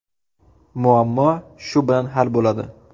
Muammo shu bilan hal bo‘ladi.